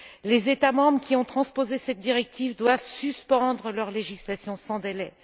Les États membres qui ont transposé cette directive doivent suspendre leur législation sans délai.